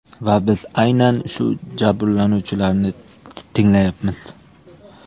Va biz aynan shu jabrlanuvchilarni tinglayapmiz.